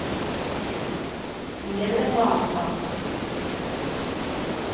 Men det är väl en vanesak.